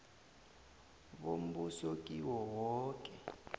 bombuso kiwo woke